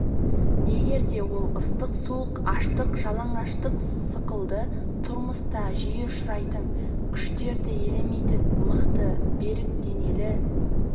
егер де ол ыстық суық аштық жалаңаштық сықылды тұрмыста жиі ұшырайтын күштерді елемейтін мықты берік денелі